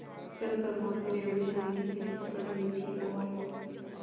कल प्रमोद ने रेवड़ी खाने की जिद पकड ली थी और